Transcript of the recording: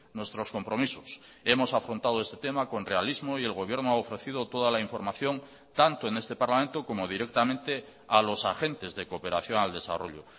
nuestros compromisos hemos afrontado este tema con realismo y el gobierno ha ofrecido toda la información tanto en este parlamento como directamente a los agentes de cooperación al desarrollo